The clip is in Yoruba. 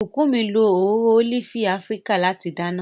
Bukunmi lo òróró ólífì Afíríkà láti dáná.